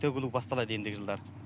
төгілу басталады ендігі жылдары